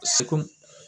Seko